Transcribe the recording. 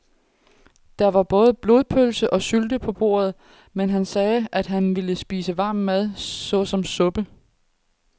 Der var både blodpølse og sylte på bordet, men han sagde, at han bare ville spise varm mad såsom suppe.